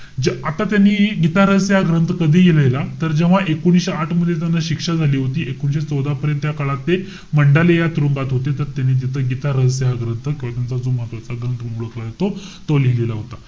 जे आता त्यांनी गीतारहस्य हा ग्रंथ कधी लिहिलेला? तर जेव्हा एकोणीशे आठ मध्ये त्याना शिक्षा झाली होती. एकोणीशे चौदा पर्यंत या काळात ते मंडाले या तुरुंगात होते. तर त्यांनी तिथं गीतारहस्य हा ग्रंथ किंवा त्यांचा जो महत्वाचा ग्रंथ म्हणून ओळखला जातो. तो लिहिलेला होता.